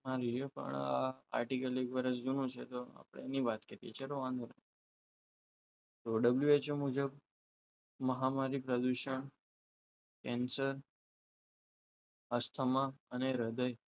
artically વર્ષ ઘણું છે આપણે વાત કરીએ છીએ વાંધો નહીં તો WHO મુજબ મહામારી પ્રદૂષણ કેન્સર અસ્થમા અને હૃદય